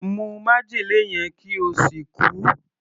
Mu májèlé yẹn kí o sì kú!